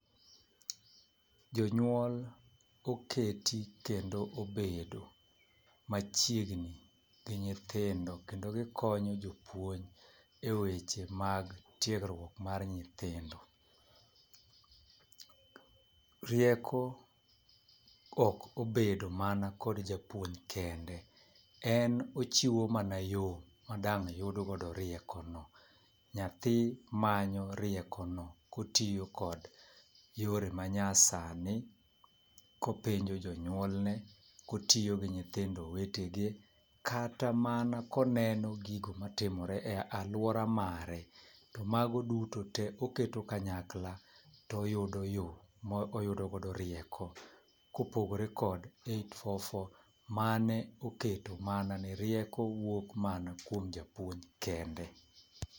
Jonyuol oketi kendo obedo machiegni gi nyithindo kendo gikonyo jopuonj eweche mag tiegruok mar nyithindo. Rieko ok obedo mana kod japuonj kende , en ochiwo mana yoo madang' yud godo rieko no . Nyathi manyo riekono kotiyo kod yore ma nya sani, kopenjo jonyuolne, kotiyo gi nyithindo wetegi kata mana koneno gigo matimore e aluora mare . To mago duto oketo kanyakla toyudo yoo moyudo go rieko kopogore kod eight four four mane oketo mana ni rieko wuok mana kuom japuonj kende.